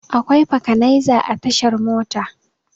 Akwai fakanaiza a tashar Mota.